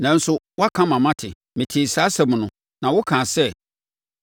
“Nanso woaka ama mate, metee saa nsɛm no, na wokaa sɛ,